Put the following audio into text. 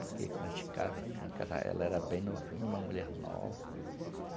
Porque quando a gente casa assim... Ela era bem novinha, uma mulher nova.